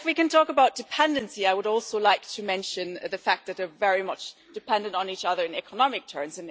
Talking about dependency, I would also like to mention the fact that we are very much dependent on each other in economic terms.